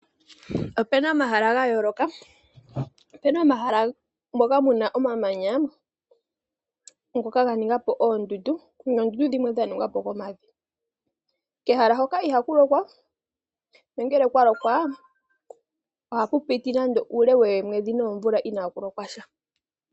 Opuna omahala gayooloka, opuna omahala moka mu na omamanya ngoka ga ninga po oondundu noondundu dhimwe dha ningwa po komavi. Kehala hoka ihaku lokwa nongele okwa lokwa oha pu piti nande uule woomwedhi noomvula inaaku lokwa sha.